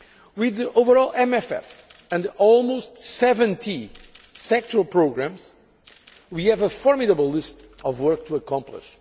With the overall MFF and almost 70 sectoral programmes we have a formidable list of work to accomplish.